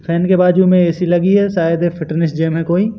Fan के बाजू में ए_सी लगी है शायद ये फिटनेस जिम है कोई।